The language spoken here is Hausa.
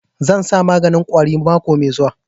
Zan sa maganin ƙwari mako mai zuwa